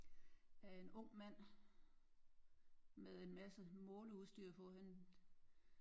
Øh en ung mand med en masse måleudstyr på han